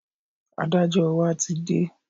Adájọ́ wa ti dé